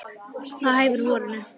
Það hæfir vorinu.